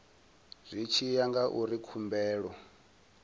zwi tshi ya ngauri khumbelo